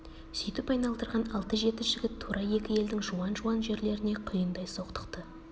сүйтіп айналдырған алты-жеті жігіт тура екі елдің жуан-жуан жерлеріне құйындай соқтықты